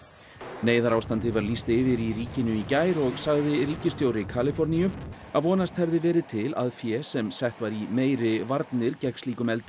neyðarástandi var lýst yfir í ríkinu í gær og sagði ríkisstjóri Kaliforníu að vonast hefði verið til að fé sem sett var í meiri varnir gegn slíkum eldum